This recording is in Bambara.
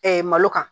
malo kan